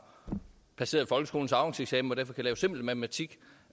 passeret folkeskolens afgangseksamen og derfor kan simpel matematik